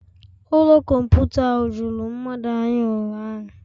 Ụlọ kọmputa ahụ juru mmadụ anya ụnyahụ